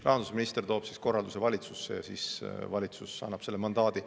Rahandusminister toob korralduse valitsusse ja valitsus annab selle mandaadi.